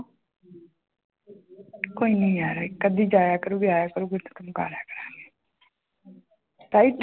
ਕੋਈ ਨੀ ਯਾਰ ਇੱਕ ਅੱਧੀ ਜਾਇਆ ਕਰੇਗੀ ਆਇਆ ਕਰੇਗੀ right